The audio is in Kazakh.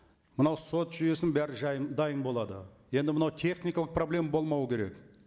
мынау сот жүйесінің бәрі дайын болады енді мынау техникалық проблема болмау керек